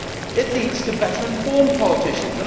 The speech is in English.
It leads to better informed politicians.